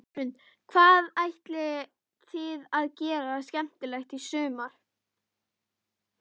Hrund: Hvað ætlið þið að gera skemmtilegt í sumar?